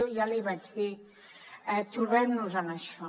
i ja li vaig dir trobem nos en això